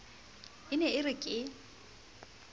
e ne e re ke